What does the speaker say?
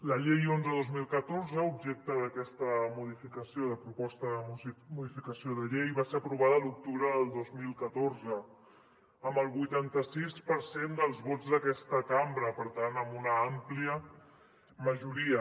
la llei onze dos mil catorze objecte d’aquesta modificació de proposta de modificació de llei va ser aprovada l’octubre del dos mil catorze amb el vuitanta sis per cent dels vots d’aquesta cambra per tant amb una àmplia majoria